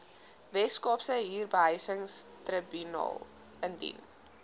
weskaapse huurbehuisingstribunaal indien